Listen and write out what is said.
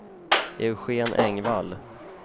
Eugén Engvall